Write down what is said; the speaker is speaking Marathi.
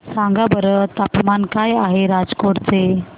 सांगा बरं तापमान काय आहे राजकोट चे